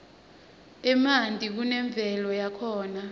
emantini kunemvelo yakhona